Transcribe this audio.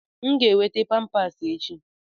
M ga-enweta Pampasi echi.